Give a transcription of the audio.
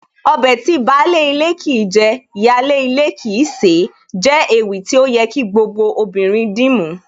Ọbẹ̀ tí baálé ilé kìí jẹ, ìyáálé ilé kìí sè é jẹ́ ewì tí ó yẹ kí gbogbo obìnrin dìmú